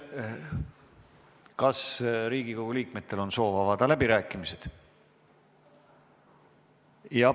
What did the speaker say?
Kas Riigikogu liikmetel on soov avada läbirääkimised?